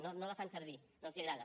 no la fan servir no els agrada